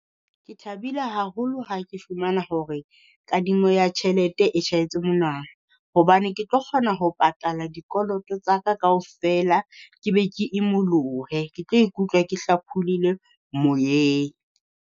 Ke thabile haholo ha ke fumana hore kadimo ya tjhelete e tjhahetse monwana, hobane ke tlo kgona ho patala dikoloto tsa ka kaofela. Ke be ke imolohe ke tlo ikutlwa ke hlapholoile moyeng.